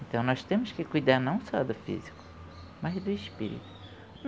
Então nós temos que cuidar não só do físico, mas do espírito.